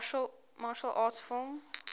martial arts film